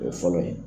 O ye fɔlɔ ye